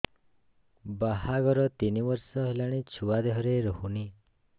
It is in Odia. ବାହାଘର ତିନି ବର୍ଷ ହେଲାଣି ଛୁଆ ଦେହରେ ରହୁନି